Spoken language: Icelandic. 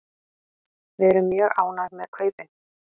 Við erum mjög ánægð með kaupin.